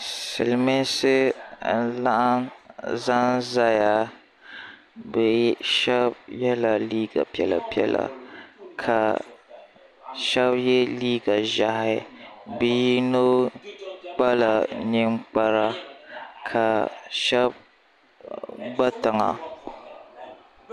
siliminsi laɣim zan zaya be shɛbi yɛla liga piɛla piɛla ka shɛbi yɛ liga ʒiɛhi bɛ yino kpala nɛkpara ka shɛbi gbatiŋa